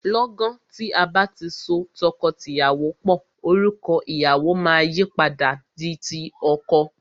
Lọ́gan tí a bá ti so tọkọtìyàwó pò, orúkọ ìyàwọ máa yìí padà di ti ọkọ.